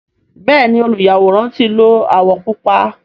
Bẹẹni oluyaworan ti lo awọ pupa.